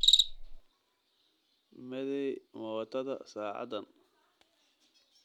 Meeday mootada saacadan?